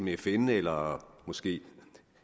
fn eller måske